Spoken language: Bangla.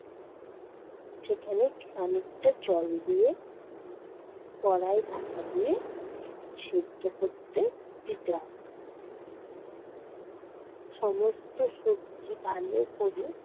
সেখানে খানিকটা জল দিয়ে উম কড়াই ঢাকা দিয়ে সেদ্ধ করতে দিতে হবে। সমস্ত সবজি ভালো কোরে